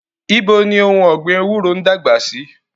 Ibo ni ohun ọ̀gbìn bitterleaf ń dàgbà sí?